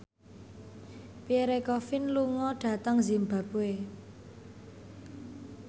Pierre Coffin lunga dhateng zimbabwe